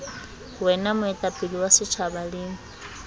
wena moetapele wa setjhaba le